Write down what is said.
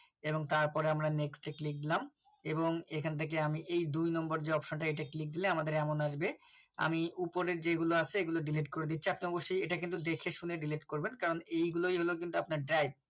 এবং তারপরে আমরা next এ click দিলাম এবং এখান থেকে আমি এই দুই number যে Option টা এটা click দিলে আমাদের এমন আসবে আমি উপরের যেগুলো আছে এগুলো Delete করে দিচ্ছি এক number সে দেখেশুনে Delete করবে। কারণ এই গুলোই হলো কিন্তু আপনার drive